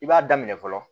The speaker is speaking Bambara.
I b'a daminɛ fɔlɔ